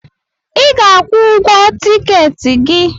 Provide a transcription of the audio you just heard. I ga-akwụ ụgwọ tikeeti gi